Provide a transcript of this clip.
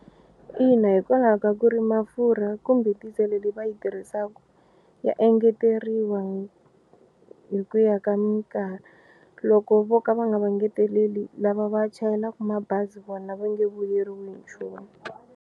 Ina hikwalaho ka ku ri mafurha kumbe diesel leyi va yi tirhisaka ya engeteriwa hi ku ya ka minkarhi loko vo ka va nga va engeteleli lava va chayelaka mabazi vona va nge vuyeriwi hi nchumu.